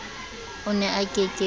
o ne a ke ke